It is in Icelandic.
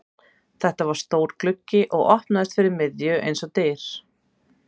Þetta var stór gluggi og opnaðist fyrir miðju eins og dyr.